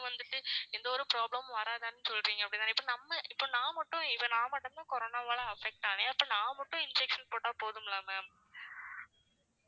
வந்துட்டு எந்த ஒரு problem மும் வராதுன்னு சொல்றீங்க. அப்படித்தானே. இப்ப நம்ப இப்ப நான் மட்டும் இப்ப நான் மட்டுதான் corona வால affect ஆனேன் அப்ப நான் மட்டும் injection போட்டா போதுங்களா ma'am